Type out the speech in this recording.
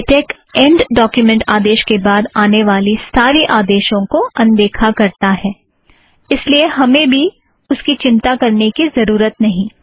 LaTeX and document आदेश के बाद आने वाले सारे आदेशों को अनदेखा करता है इस लिए हमें भी उसकी चिंता करने की ज़रूरत नहीं